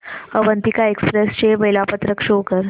Avantika express चे वेळापत्रक show कर